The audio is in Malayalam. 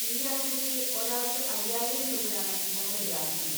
ഈ യാത്രയ്ക്ക് ഒരാൾക്ക് അയ്യായിരം രൂപയാണ് ഞങ്ങൾ ഈടാക്കുന്നത്.